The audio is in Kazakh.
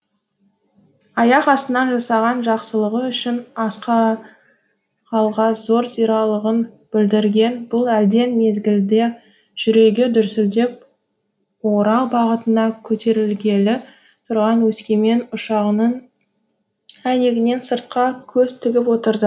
аяқ астынан жасаған жақсылығы үшін зор білдірген бұл әлден мезгілде жүрегі дүрсілдеп орал бағытына көтерілгелі тұрған өскемен ұшағының әйнегінен сыртқа көз тігіп отырды